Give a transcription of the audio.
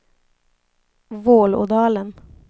Vålådalen